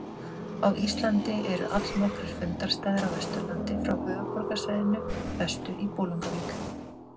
Á Íslandi eru allnokkrir fundarstaðir á Vesturlandi frá höfuðborgarsvæðinu vestur í Bolungarvík.